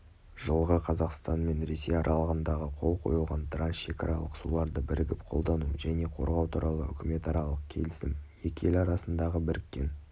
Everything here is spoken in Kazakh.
жылғы қазақстан мен ресей аралығында қол қойылған трансшекаралық суларды бірігіп қолдану және қорғау туралы үкіметаралық келісім екі ел арасындағы біріккен